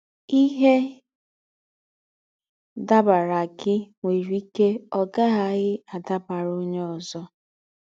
Íhe dàbaàrà gị̀ nwérè íkè ọ̀ gá-àghàghì dàbaàrà ónyè ózọ.